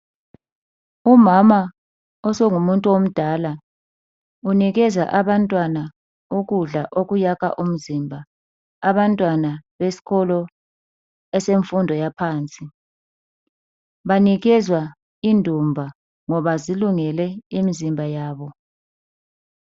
Umama osengumuntu omdala unikeza abantwana ukudla okuyakha umzimba, abantwana besikolo esemfundo yaphansi. Banikezwa indumba ngoba zilungele imizimba yabo.